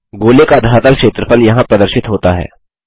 गोले का धरातल क्षेत्रफल यहाँ प्रदर्शित होता है